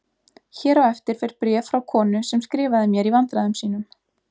Hér á eftir fer bréf frá konu sem skrifaði mér í vandræðum sínum